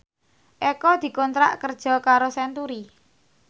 Eko dikontrak kerja karo Century